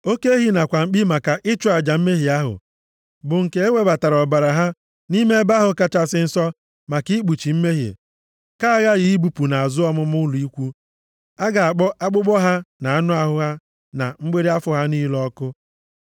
Oke ehi nakwa mkpi maka ịchụ aja mmehie ahụ, bụ nke ewebatara ọbara ha nʼime Ebe ahụ Kachasị Nsọ, maka ikpuchi mmehie, ka aghaghị ibupụ nʼazụ ọmụma ụlọ ikwu; a ga-akpọ akpụkpọ ha, anụ ahụ ha na mgbịrị afọ ha niile ọkụ.